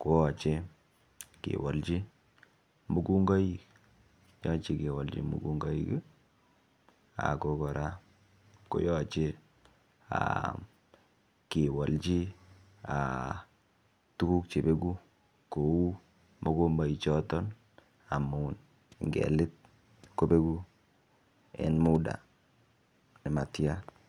koyoche kewolji mungungoik yoche kewolji mungungoik ako koraa koyoche aa kewolji aa tuguk che beguu kouu mokomboik choton amun ngelit kobenguu en munda nematyan.